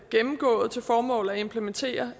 gennemgået til formål at implementere